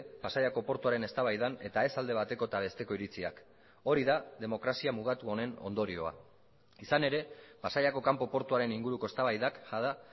pasaiako portuaren eztabaidan eta ez alde bateko eta besteko iritziak hori da demokrazia mugatu honen ondorioa izan ere pasaiako kanpo portuaren inguruko eztabaidak jada